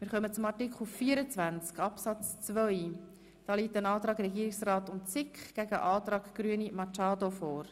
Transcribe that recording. Hier liegen ein Antrag des Regierungsrats und der SiK sowie ein Antrag Grüne vor.